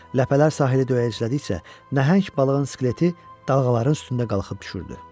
Ləpələr sahili döyəclədikcə, nəhəng balığın skeleti dalğaların üstündə qalxıb düşürdü.